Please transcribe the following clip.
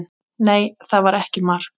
Nei, það var ekki mark.